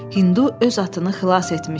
Hindu öz atını xilas etmişdi.